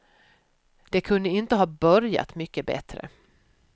Det kunde inte ha börjat mycket bättre.